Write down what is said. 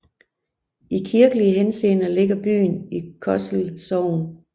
I kirkelig henseende ligger byen i Kosel Sogn